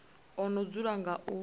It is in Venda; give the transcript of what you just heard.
o no dzula nga u